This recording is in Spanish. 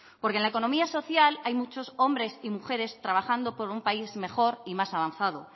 porque en la economía social hay mucho hombres y mujeres trabajando por un país mejor y más avanzado